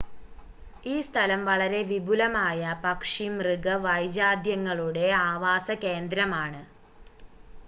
ഈ സ്ഥലം വളരെ വിപുലമായ പക്ഷി മൃഗ വൈജാത്യങ്ങളുടെ ആവാസകേന്ദ്രമാണ്